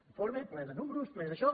un informe ple de números ple d’això